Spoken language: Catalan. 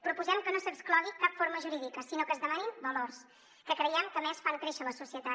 proposem que no s’exclogui cap forma jurídica sinó que es demanin valors que creiem que a més fan créixer la societat